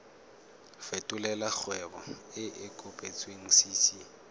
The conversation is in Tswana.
fetolela kgwebo e e kopetswengcc